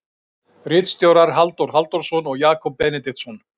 Ritstjórar Halldór Halldórsson og Jakob Benediktsson.